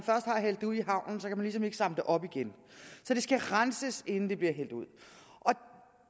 ligesom ikke samle det op igen så det skal renses inden det bliver hældt ud